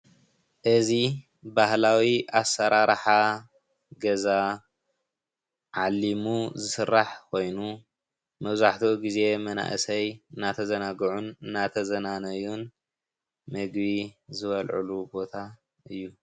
እዚ ባህላዊ ኣሰረራሓ ገዛ ዓሊሙ ዝስራሕ ኮይኑ መብዛሕትኡ ግዜ መናእሰይ እዳተዛናጉዑን እዳተዝናነዩን ምግብ ዝበልዕሉ ቦታ እዩ።